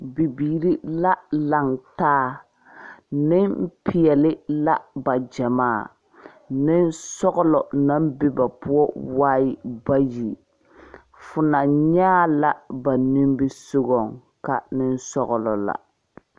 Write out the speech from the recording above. Bibiiri la laŋ taa nempeɛle la ba gyamaa nensɔglɔ naŋ be ba poɔ waa bayi fo na nyɛ a la ba nimisogoŋ ka nensɔglɔ la.